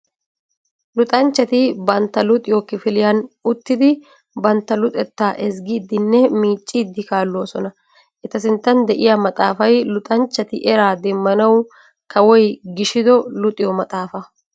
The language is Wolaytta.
Luxanchchati bantta luxiyo kifiliyan uttiddi bantta luxetta ezggiddinne miiccidde kaalossona. Eta sinttan de'iya maxaafay luxanchchati eraa demmanawu kawoy gishido luxiyo maxaafa.